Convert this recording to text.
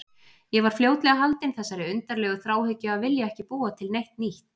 Ég var fljótlega haldinn þessari undarlegu þráhyggju að vilja ekki búa til neitt nýtt.